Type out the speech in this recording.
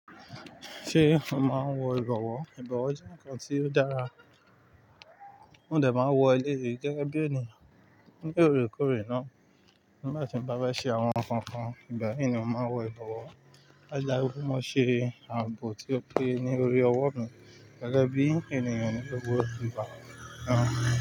Ṣé o máa ń wọ ìbọwọ́? Ìbọwọ́ jẹ́ nǹkan tí ó dára. Mo dẹ̀ máa wọ ẹlẹ́yì gẹ́gẹ́ bí ẹniyàn lóòrèkóòrè náà. Nígbà tí n bá fẹ́ ṣe àwọn nǹkan kan, ìgbà yìí ni mo máa ń wọ ìbọwọ́. Láo, ó máa ń ṣe ààbò tí ó pé ní orí owó gẹ́gẹ́ bí ènìyàn ní gbogbo ìgbà.